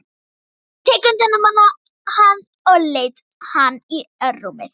Tekið utan um hann og leitt hann í rúmið.